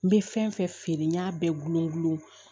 N bɛ fɛn fɛn feere n y'a bɛɛ gulon n gulon